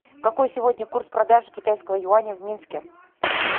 какой сегодня курс продажи китайского юаня в минске